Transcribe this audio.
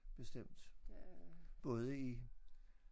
Bestemt både i